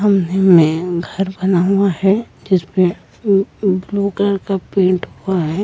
में घर बना हुआ है जिस पे ब्लू कलर का पेंट हुआ है।